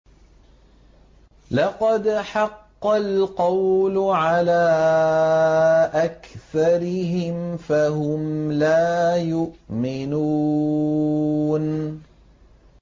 لَقَدْ حَقَّ الْقَوْلُ عَلَىٰ أَكْثَرِهِمْ فَهُمْ لَا يُؤْمِنُونَ